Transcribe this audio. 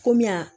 Kɔmi yan